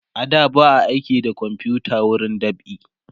a da ba a aiki da komfuta wurin dab'i